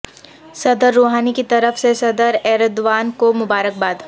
صدر روحانی کی طرف سے صدر ایردوان کو مبارکباد